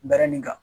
Barani in kan